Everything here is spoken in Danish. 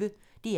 DR P1